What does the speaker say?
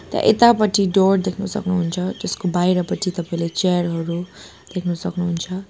त्या यतापटि डोर देख्न सक्नुहुन्छ त्यसको बाहिरपटि तपाईंले चेयर हरू देख्न सक्नुहुन्छ।